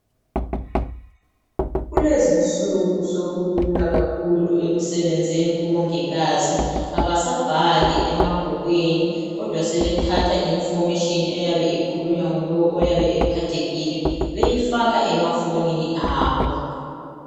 kulezinsuku sokulula kakhulu ekusebenzeni kubongikazi abasa bhali emabhukwini kodwa sebathatha information eyabe ikhulunywa ngulowo oyabe ephathekile beyifaka emafonini abo